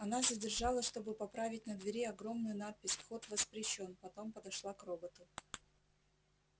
она задержалась чтобы поправить на двери огромную надпись вход воспрещён потом подошла к роботу